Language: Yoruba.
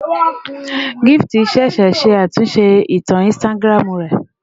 Gift ṣẹ̀ṣẹ̀ ṣe àtúnṣe ìtàn Instagram rẹ̀